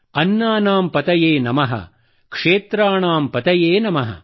ಅನ್ನಾನಾಂ ಪತಯೇ ನಮಃ ಕ್ಷೇತ್ರಾಣಾಂ ಪತಯೇ ನಮಃ